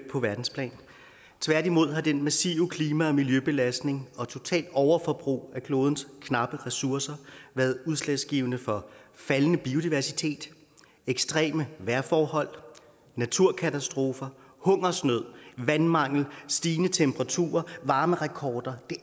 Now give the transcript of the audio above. på verdensplan tværtimod har den massive klima og miljøbelastning og det totale overforbrug af klodens knappe ressourcer været udslagsgivende for faldende biodiversitet ekstreme vejrforhold naturkatastrofer hungersnød vandmangel stigende temperaturer varmerekorder det